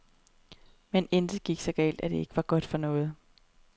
Men intet er så galt, at det ikke er godt for noget.